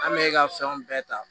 An bɛ ka fɛnw bɛɛ ta